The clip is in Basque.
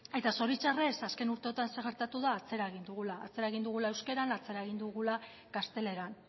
eta zoritxarrez azken urteotan zer gertatu da atzera egin dugula atzera egin dugula euskaran atzera egin dugula gazteleran